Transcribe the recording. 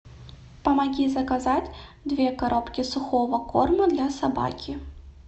помоги заказать две коробки сухого корма для собаки